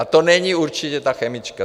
A to není určitě ta chemička.